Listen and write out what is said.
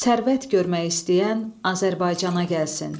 Sərvət görmək istəyən Azərbaycana gəlsin.